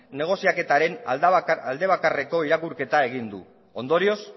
negoziaketaren alde bakarreko irakurketa egin du ondorioz